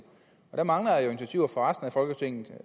der mangler jo initiativer fra resten af folketinget